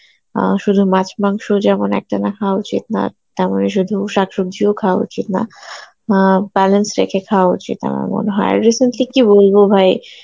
অ্যাঁ শুধু মাছ মাংসই যেমন একটানা খাওয়া উচিত না তেমনি শুধু শাকসবজিও খাওয়া উচিত না অ্যাঁ balance রেখে খাওয়া উচিত আমার মনে হয় recently কী বলবো ভাই